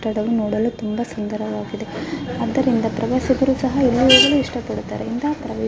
ಕಟ್ಟಡವು ನೋಡಲು ತುಂಬಾ ಸುಂದರವಾಗಿದೆ. ಅದರಿಂದ ಪ್ರವಾಸಿಕರು ಸಹಾ ಇನ್ನುವರ್ಗುನು ಇಷ್ಟ ಪಡುತ್ತಾರೆ. ಇಂದ --